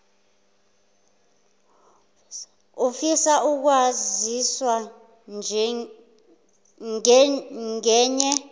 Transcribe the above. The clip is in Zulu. ufisa ukwaziswa ngenye